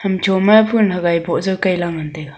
cho ma phool hagai am boh jaw kaila ngan taiga.